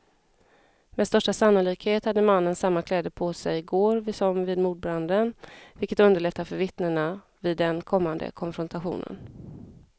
Med största sannolikhet hade mannen samma kläder på sig i går som vid mordbranden, vilket underlättar för vittnena vid den kommande konfrontationen.